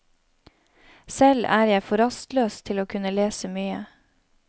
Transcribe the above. Selv er jeg for rastløs til å kunne lese mye.